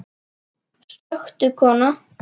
Slökktu kona.